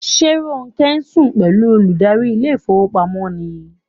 Is Ronke sleeping with the bank manager?